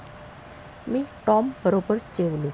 मी टॉमबरोबर जेवलो.